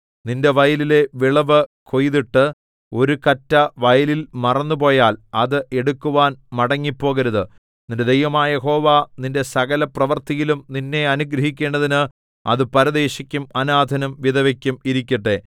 നിന്റെ വയലിലെ വിളവു കൊയ്തിട്ട് ഒരു കറ്റ വയലിൽ മറന്നുപോയാൽ അത് എടുക്കുവാൻ മടങ്ങിപ്പോകരുത് നിന്റെ ദൈവമായ യഹോവ നിന്റെ സകലപ്രവൃത്തിയിലും നിന്നെ അനുഗ്രഹിക്കേണ്ടതിന് അത് പരദേശിക്കും അനാഥനും വിധവയ്ക്കും ഇരിക്കട്ടെ